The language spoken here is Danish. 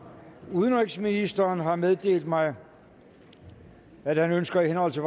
udenrigsministeren har meddelt mig at han ønsker i henhold til